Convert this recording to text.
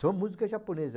Só música japonesa.